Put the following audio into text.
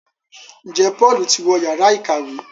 Njé Paul tí wọ Yàrá ìkàwé?